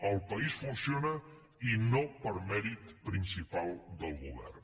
el país funciona i no per mèrit principal del govern